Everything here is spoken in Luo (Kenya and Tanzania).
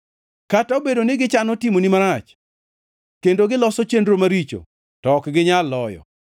Kata obedo ni gichano timoni marach kendo giloso chenro maricho, to ok ginyal loyo;